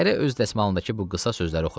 Hərə öz dəsmalındakı bu qısa sözləri oxudu.